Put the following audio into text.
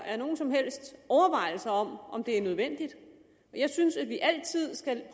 er nogen som helst overvejelser om om det er nødvendigt jeg synes at vi altid skal